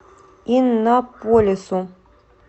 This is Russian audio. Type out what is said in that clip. иннополису